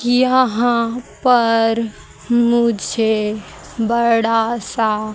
यहां पर मुझे बड़ा सा--